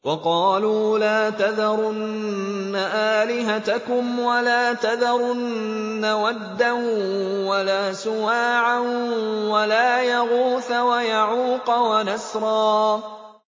وَقَالُوا لَا تَذَرُنَّ آلِهَتَكُمْ وَلَا تَذَرُنَّ وَدًّا وَلَا سُوَاعًا وَلَا يَغُوثَ وَيَعُوقَ وَنَسْرًا